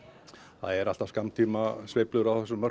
það eru alltaf skammtímasveiflur á þessum